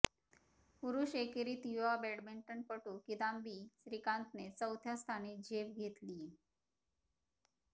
पुरुष एकेरीत युवा बॅडमिंटनपटू किदांबी श्रीकांतने चौथ्या स्थानी झेप घेतलीय